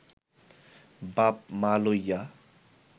বাপ-মা লইয়া